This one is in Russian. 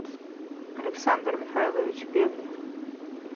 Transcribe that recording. александр михайлович певнев